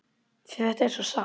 Því þetta er svo satt!